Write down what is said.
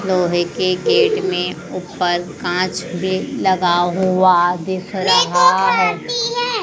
लोहे के गेट में ऊपर कांच भी लगा हुआ दिख रहा है।